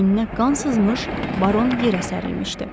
Beyninə qan sızmış baron yerə sərilmişdi.